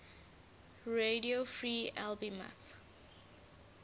radio free albemuth